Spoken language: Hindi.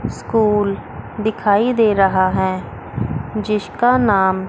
स्कूल दिखाई दे रहा है जिसका नाम--